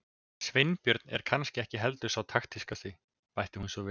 Sveinbjörn er kannski ekki heldur sá taktískasti- bætti hún svo við.